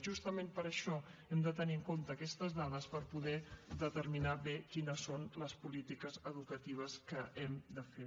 justament per això hem de tenir en compte aquestes dades per poder determinar bé quines són les polítiques educatives que hem de fer